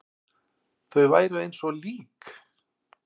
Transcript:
Þau væru eins og lík.